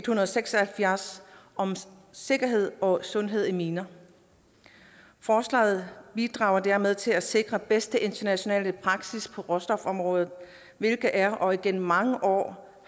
hundrede og seks og halvfjerds om sikkerhed og sundhed i miner forslaget bidrager dermed til at sikre den bedste internationale praksis på råstofområdet hvilket er og gennem mange år